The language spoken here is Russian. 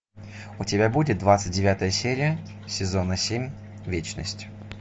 у тебя будет двадцать девятая серия сезона семь вечность